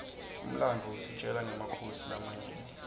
umlandvo usitjela nqemakhosi lamanyenti